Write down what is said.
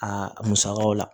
A musakaw la